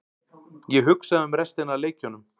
Ég hugsaði um restina af leikjunum.